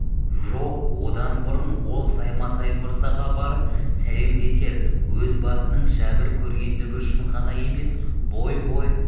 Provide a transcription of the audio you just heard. жоқ одан бұрын ол саймасай мырзаға барып сәлемдесер өз басының жәбір көргендігі үшін ғана емес бой-бой